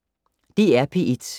DR P1